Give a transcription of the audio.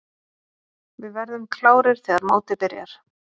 Við verðum klárir þegar mótið byrjar.